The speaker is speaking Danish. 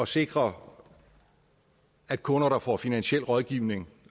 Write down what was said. sikre at kunder der får finansiel rådgivning